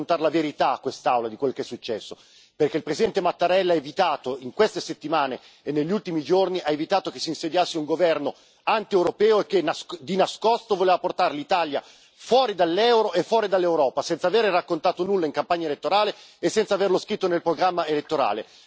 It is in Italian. Bisogna raccontare la verità a quest'Aula su quello che è successo, perché il Presidente Mattarella ha evitato, in queste settimane e negli ultimi giorni, ha evitato che si insediasse un governo antieuropeo che di nascosto voleva portare l'Italia fuori dall'euro e fuori dall'Europa, senza avere raccontato nulla in campagna elettorale e senza averlo scritto nel programma elettorale.